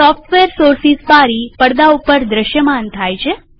software sources બારી પડદા ઉપર દ્રશ્યમાન થાય છે